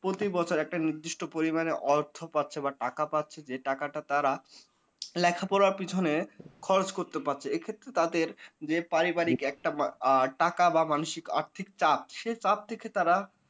প্রতি বছর একটা নির্দিষ্ট পরিমাণে অর্থ পাচ্ছে বা টাকা পাচ্ছে যে টাকাটা তারা লেখাপড়ার পিছনে খরচ করতে পারছে। এক্ষেত্রে তাদের যে পারিবারিক একটা আ টাকা বা মানসিক আর্থিক চাপ সে চাপ থেকে তারা